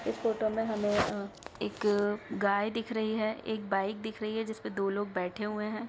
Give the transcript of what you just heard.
इस फोटो में हमें अ-एक गाय दिख रही है। एक बाइक दिख रही है। जिस पे दो लोग बैठे हुए हैं।